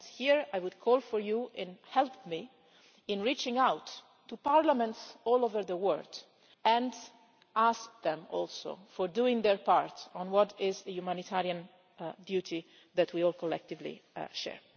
Here I would call for you to help me in reaching out to parliaments all over the world and asking them also to do their part in what is a humanitarian duty that we all collectively share.